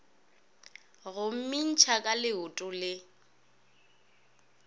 go mmintšha ka leoto le